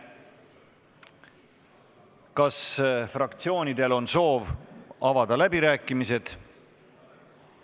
Kas fraktsioonidel on soovi avada läbirääkimisi?